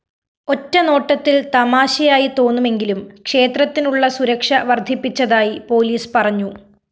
ഒറ്റനോട്ടത്തില്‍ തമാശയായി തോന്നുമെങ്കിലും ക്ഷേത്രത്തിനുള്ള സുരക്ഷ വര്‍ധിപ്പിച്ചതായി പോലീസ് പറഞ്ഞു